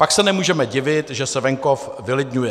Pak se nemůžeme divit, že se venkov vylidňuje.